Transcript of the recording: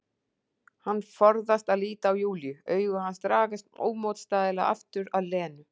Hann forðast að líta á Júlíu, augu hans dragast ómótstæðilega aftur að Lenu.